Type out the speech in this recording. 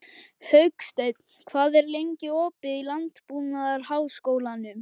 Hauksteinn, hvað er lengi opið í Landbúnaðarháskólanum?